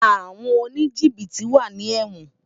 Awòn ónijibití wá ni èwòn